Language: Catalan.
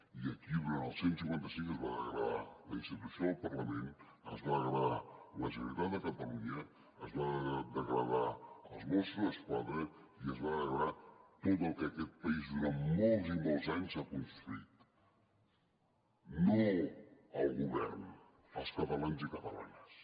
i aquí durant el cent i cinquanta cinc es va degradar la institució del parlament es va degradar la generalitat de catalunya es van degradar els mossos d’esquadra i es va degradar tot el que aquest país durant molts i molts anys ha construït i no el govern els catalans i catalanes